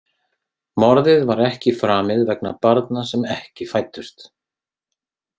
Morðið var ekki framið vegna barna sem ekki fæddust.